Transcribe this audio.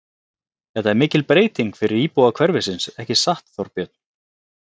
Þetta er mikil breyting fyrir íbúa hverfisins, ekki satt, Þorbjörn?